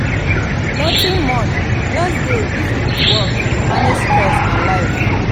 nothing much just dey busy with work dey manage stress and life.